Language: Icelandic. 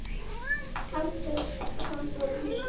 Handtök hans voru hlý.